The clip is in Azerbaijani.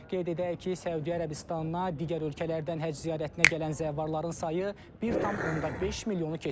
Qeyd edək ki, Səudiyyə Ərəbistanına digər ölkələrdən həcc ziyarətinə gələn zəvvarların sayı 1,5 milyonu keçib.